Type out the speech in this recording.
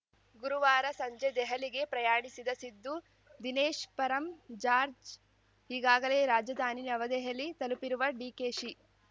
ಗುರುವಾರ ಸಂಜೆ ದೆಹಲಿಗೆ ಪ್ರಯಾಣಿಸಿದ ಸಿದ್ದು ದಿನೇಶ್‌ ಪರಂ ಜಾರ್ಜ್ ಈಗಾಗಲೇ ರಾಜಧಾನಿ ನವದೆಹಲಿ ತಲುಪಿರುವ ಡಿಕೆಶಿ